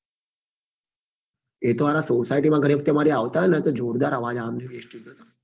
એ તો હારા society મમા ગણી વખતે અમારે ને તો જોરદાર અવાજ આવે base tube પર